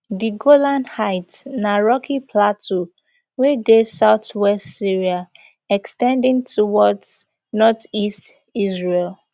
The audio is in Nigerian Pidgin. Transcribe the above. di golan heights na rocky plateau wey dey southwest syria ex ten ding towards northeast israel